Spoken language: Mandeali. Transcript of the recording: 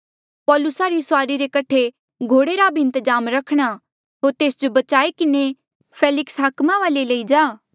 पौलुसा री सुआरी रे कठे घोड़े रा भी इन्तजाम रखणा होर तेस जो बचाई किन्हें फेलिक्स हाकमा वाले लई जा